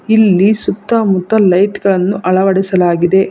ಇಲ್ಲಿ ಸುತ್ತಮುತ್ತ ಲೈಟ್ ಗಳನ್ನು ಅಳವಡಿಸಲಾಗಿದೆ